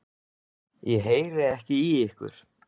Ég heyri ekki í ykkur.